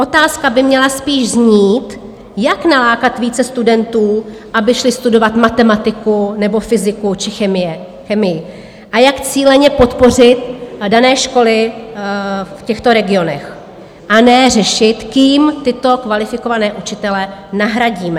Otázka by měla spíš znít, jak nalákat více studentů, aby šli studovat matematiku nebo fyziku či chemii, a jak cíleně podpořit dané školy v těchto regionech, a ne řešit, kým tyto kvalifikované učitele nahradit.